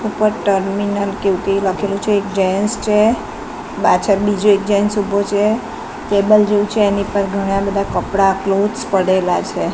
ઉપર ટર્મિનલ કે એવુ કઈ લખેલુ છે એક જેન્ટ્સ છે પાછળ બીજો એક જેન્ટ્સ ઊભો છે ટેબલ જેવુ છે એની પર ઘણા બધા કપડા કલોથ્સ પડેલા છે.